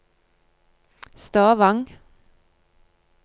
Stavang